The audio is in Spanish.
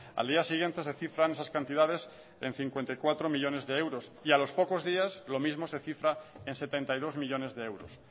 al día siguiente se cifran esas cantidades en cincuenta y cuatro millónes de euros y a los pocos días lo mismo se cifra en setenta y dos millónes de euros